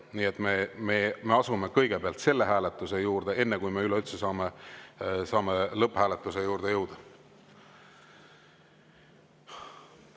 Nii et me asume kõigepealt selle hääletuse juurde, enne kui me üldse saame lõpphääletuse juurde jõuda.